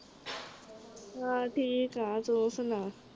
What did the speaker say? ਹਾਂ ਠੀਕ ਆ ਤੂੰ ਸੁਣਾ